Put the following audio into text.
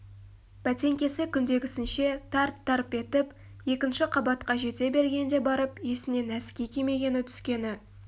бәтеңкесі күндегісінше тарт-тарп етіп екінші қабатқа жете бергенде барып есіне нәски кимегені түскені